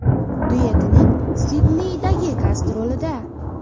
duetining Sidneydagi gastrolida.